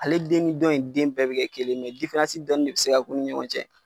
Ale den ni dɔ in den bɛɛ bi kɛ kelen ye dɔ de bi se ka k'u ni ɲɔgɔn cɛ.